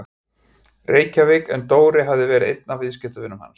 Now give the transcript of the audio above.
Reykjavík en Dóri hafði verið einn af viðskiptavinum hans.